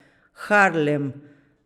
Harlem.